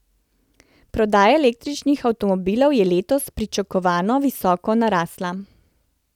Prodaja električnih avtomobilov je letos, pričakovano, visoko narasla.